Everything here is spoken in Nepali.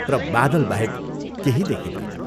कुइरो र बादल बाहेक केही देखिंदैन।